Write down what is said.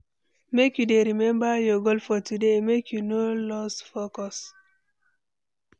Make you dey remember your goal for today, make you no lose focus.